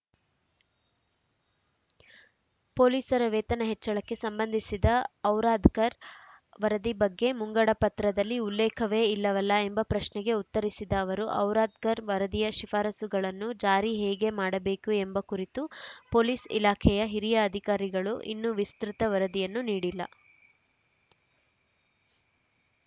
ಪೊಲೀಸರ ವೇತನ ಹೆಚ್ಚಳಕ್ಕೆ ಸಂಬಂಧಿಸಿದ ಔರಾದ್ಕರ್‌ ವರದಿ ಬಗ್ಗೆ ಮುಂಗಡಪತ್ರದಲ್ಲಿ ಉಲ್ಲೇಖವೇ ಇಲ್ಲವಲ್ಲ ಎಂಬ ಪ್ರಶ್ನೆಗೆ ಉತ್ತರಿಸಿದ ಅವರು ಔರಾದ್ಕರ್‌ ವರದಿಯ ಶಿಫಾರಸುಗಳನ್ನು ಜಾರಿ ಹೇಗೆ ಮಾಡಬೇಕು ಎಂಬ ಕುರಿತು ಪೊಲೀಸ್‌ ಇಲಾಖೆಯ ಹಿರಿಯ ಅಧಿಕಾರಿಗಳು ಇನ್ನು ವಿಸ್ತೃತ ವರದಿಯನ್ನು ನೀಡಿಲ್ಲ